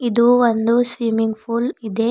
ಇದು ಒಂದು swimming pool ಇದೆ.